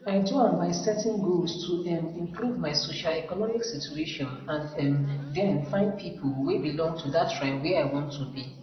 i do am by setting goals to um improve my socioeconomic situation and um den find pipo wey belong to dat tribe where i wan to be